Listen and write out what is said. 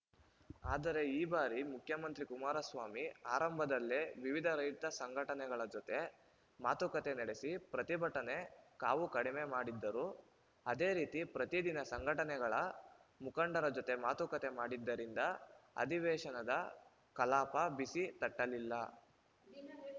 ಆದರೆ ಈ ಬಾರಿ ಮುಖ್ಯಮಂತ್ರಿ ಕುಮಾರಸ್ವಾಮಿ ಆರಂಭದಲ್ಲೇ ವಿವಿಧ ರೈತ ಸಂಘಟನೆಗಳ ಜೊತೆ ಮಾತುಕತೆ ನಡೆಸಿ ಪ್ರತಿಭಟನೆ ಕಾವು ಕಡಿಮೆ ಮಾಡಿದ್ದರು ಅದೇ ರೀತಿ ಪ್ರತಿ ದಿನ ಸಂಘಟನೆಗಳ ಮುಖಂಡರ ಜೊತೆ ಮಾತುಕತೆ ಮಾಡಿದ್ದರಿಂದ ಅಧಿವೇಶನದ ಕಲಾಪ ಬಿಸಿ ತಟ್ಟಲಿಲ್ಲ